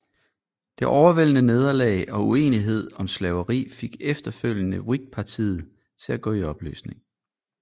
Det overvældende nederlag og uenighed om slaveri fik efterfølgende Whigpartiet til at gå i opløsning